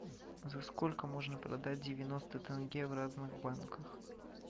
за сколько можно продать девяносто тенге в разных банках